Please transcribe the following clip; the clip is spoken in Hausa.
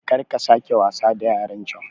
karka sake wasa da yarancan